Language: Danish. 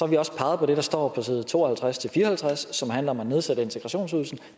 vi også peget på det der står på side to og halvtreds til fire og halvtreds som handler om at nedsætte integrationsydelsen